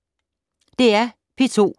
DR P2